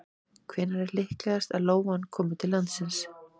hvenær er líklegast að lóan komi til landsins